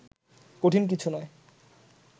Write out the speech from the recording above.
কঠিন কিছু নয়